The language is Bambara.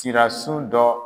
Sira su dɔ.